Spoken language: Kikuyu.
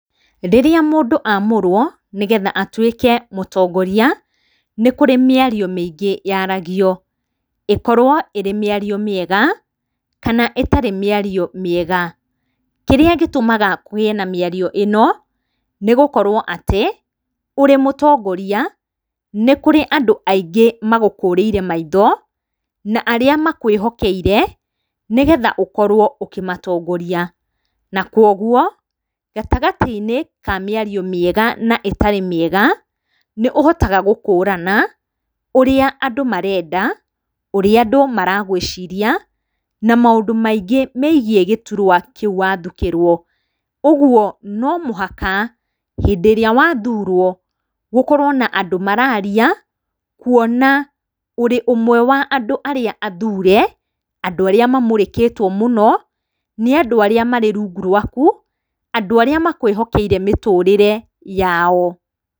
Rĩrĩa mũndũ amũrwo nĩ getha atuĩke mũtongoria, nĩ kurĩ mĩario mĩingĩ yaragio; ĩkorwo ĩrĩ mĩario mĩega, kana ĩtarĩ mĩario mĩega. Kĩrĩa gĩtũmaga kũgĩe na mĩario ĩno, nĩ gũkorwo atĩ ũrĩ mũtongoria nĩ kũrĩ andũ aingĩ magũkũrĩire maitho na arĩa makwĩhokeire nĩ getha ũkorwo ũkĩmatongoria. Na kogwo gatagatĩ-inĩ ka mĩario mĩega na ĩtarĩ mĩega, nĩ ũhotaga gũkũrana ũrĩa andũ marenda, ũrĩa andũ maragwĩciria, na maũndũ maingĩ megiĩ gĩturwa kĩu wathukĩrwo. Ũguo no mũhaka hĩndĩ ĩrĩa wathurwo gũkorwo na andũ mararia kũona ũrĩ ũmwe wa andũ arĩa athure, andu aria makũrĩkĩtwo mũno nĩ andũ arĩa marĩ rungu rwaku; andũ arĩa makwĩhokeire mĩtũrĩre yao.